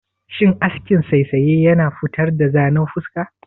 Shin askin saisaye yana futar da zanen fuska?